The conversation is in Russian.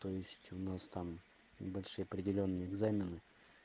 то есть у нас там большие определённые экзамены